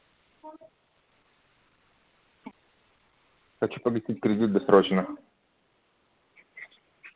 хочу погасить кредит досрочно